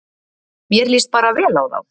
Mér líst bara vel á þá